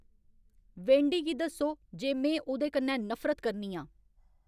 Wendy गी दस्सो जे में उ'दे कन्नै नफरत करनी आं